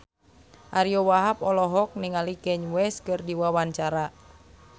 Ariyo Wahab olohok ningali Kanye West keur diwawancara